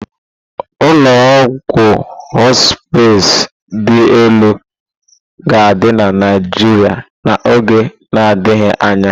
Ụlọ ọgwụ họspịz dị elu ga-adị na Naijiria n'oge na-adịghị anya.